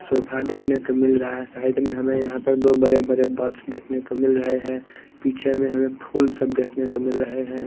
Sofa देखने को मिल रहा है साइड में हमें यहाँ पर दो बड़े-बड़े देखने को मिल रहे हैं पीछे में हमें फूल सब देखने को मिल रहे हैं।